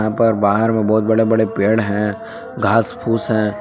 पर बाहर में बहुत बड़े बड़े पेड़ हैं घासफूस हैं।